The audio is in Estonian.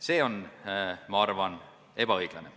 See on, ma arvan, ebaõiglane.